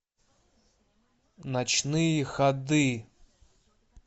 ночные ходы